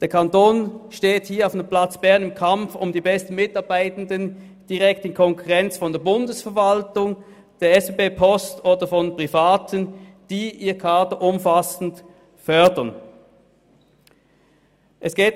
Der Kanton steht hier in einem platzfernen Kampf um die besten Mitarbeitenden in direkter Konkurrenz mit der Bundesverwaltung, den Schweizerischen Bundesbahnen (SBB), der Post und Privaten, die ihr Kader umfassend fördern.